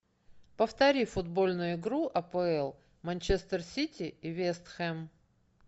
повтори футбольную игру апл манчестер сити и вест хэм